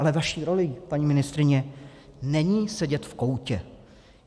Ale vaší rolí, paní ministryně, není sedět v koutě.